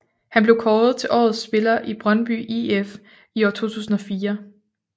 Han blev kåret til årets spiller i Brøndby IF i år 2004